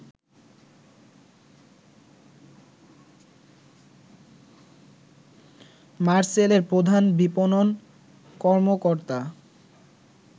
মারসেলের প্রধান বিপণন কর্মকর্তা